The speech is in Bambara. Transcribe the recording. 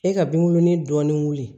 E ka binkurunin dɔɔnin wuli